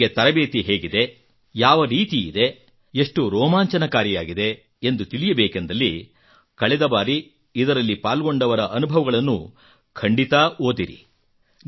ನಿಮಗೆ ತರಬೇತಿ ಹೇಗಿದೆ ಯಾವ ರೀತಿಯಿದೆ ಎಷ್ಟು ರೋಮಾಂಚಕಾರಿಯಾಗಿದೆ ಎಂದು ತಿಳಿಯಬೇಕೆಂದಲ್ಲಿ ಕಳೆದ ಬಾರಿ ಇದರಲ್ಲಿ ಪಾಲ್ಗೊಂಡವರ ಅನುಭವಗಳನ್ನು ಖಂಡಿತಾ ಓದಿರಿ